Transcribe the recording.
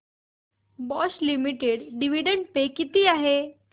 Bosch limited dividend pay किती आहे